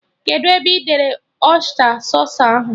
Kedụ ebe ị debere ọysta sausụ ahụ?